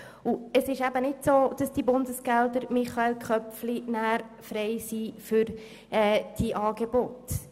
Michael Köpfli, es trifft eben nicht zu, dass die Bundesgelder dann für diese Angebote frei sind.